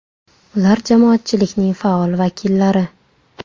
Ular jamoatchilikning faol vakillari.